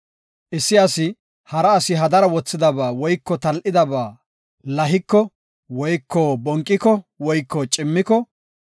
Issi asi hara asi hadara wothidaba woyko tal7idaba lahiko woyko bonqiko woyko cimmiko,